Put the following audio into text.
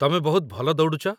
ତମେ ବହୁତ ଭଲ ଦୌଡ଼ୁଚ ।